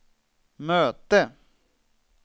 möte